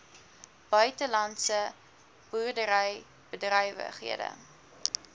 buitelandse boerdery bedrywighede